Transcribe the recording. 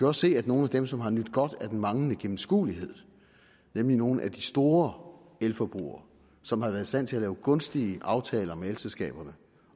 også se at nogle af dem som har nydt godt af den manglende gennemskuelighed nemlig nogle af de store elforbrugere som har været i stand til at lave gunstige aftaler med elselskaberne